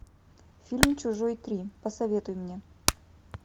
фильм чужой три посоветуй мне